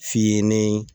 F'i ye nin